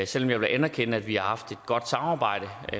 selv om jeg vil anerkende at vi har haft et godt samarbejde